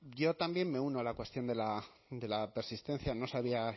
yo también me uno a la cuestión de la persistencia no sabía